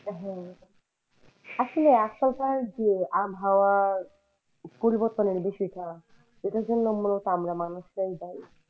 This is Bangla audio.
আসলে আজকালকের যে আবহাওয়া পরিবর্তনের বিষয় টা এটার জন্য মূলত আমরা মানুষরাই দায়ী।